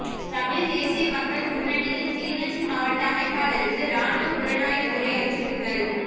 தமிழ் தேசிய மக்கள் முன்னனியின் கிளிநொச்சி மாவட்ட அமைப்பாளருக்கு இராணுவ புலனாய்வுத் துறை அச்சுறுத்தல்